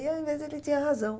E ao invés, ele tinha razão.